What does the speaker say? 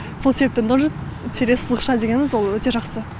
сол себепті нұр тире сызықша дегеніміз ол өте жақсы